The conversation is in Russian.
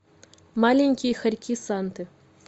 маленькие хорьки санты